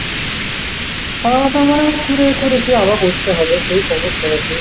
খাওয়া দাওয়া মানে দুপুরে করেছি আবার করতে হবে সেই কখন হয়েছে।